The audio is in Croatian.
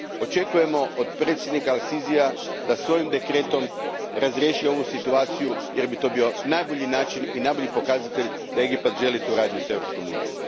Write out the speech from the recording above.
Očekujemo od predsjednika al Sisija da svojim dekretom razriješi ovu situaciju jer bi to bio najbolji način i najbolji pokazatelj da Egipat želi suradnju s Europskom unijom.